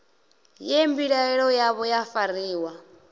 ye mbilaelo yavho ya fariwa